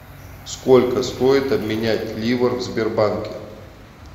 сколько стоит обменять ливр в сбербанке